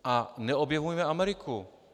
A neobjevujme Ameriku.